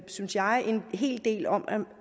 synes jeg en hel del om